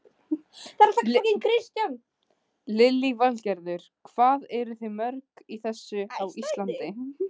Lillý Valgerður: Hvað eruð þið mörg í þessu á Íslandi?